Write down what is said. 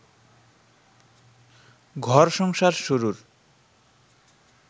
ঘর-সংসার শুরুর